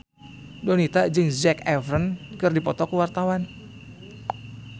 Donita jeung Zac Efron keur dipoto ku wartawan